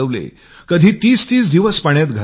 कधी ३०३० दिवस पाण्यात घालवले